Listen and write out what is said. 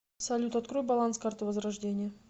салют открой баланс карты возрождение